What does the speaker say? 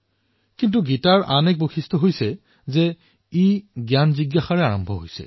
কিন্তু গীতাৰ বিশিষ্টতা এয়াও যে এয়া জনাৰ কৌতুহলৰ পৰা আৰম্ভ হয়